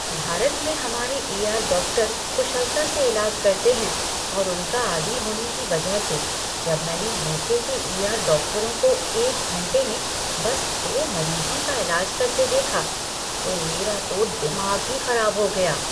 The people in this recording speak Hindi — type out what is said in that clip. भारत में हमारे ईआर डॉक्टर कुशलता से इलाज करते हैं और उनका आदी होने की वजह से, जब मैंने यूके के ईआर डॉक्टरों को एक घंटे में बस दो मरीज़ों का इलाज करते देखा, तो मेरा तो दिमाग ही खराब हो गया।